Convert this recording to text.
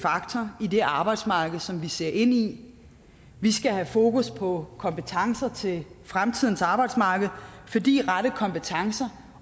faktor i det arbejdsmarked som vi ser ind i vi skal have fokus på kompetencer til fremtidens arbejdsmarked fordi rette kompetencer